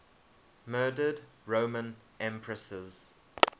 murdered roman empresses